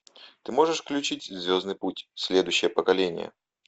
ты можешь включить звездный путь следующее поколение